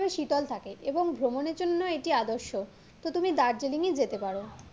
শীতল থাকে এবং ভ্রমনের জন্য এটি আদর্শ তো তুমি দার্জিলিংই যেতে পারো